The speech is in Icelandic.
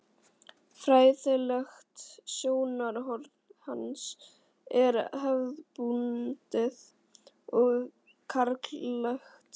Fræðilegt sjónarhorn hans er hefðbundið og karllægt.